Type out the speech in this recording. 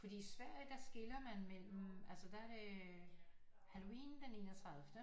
Fordi i Sverige der skiller man mellem altså der er det halloween den enogtredivte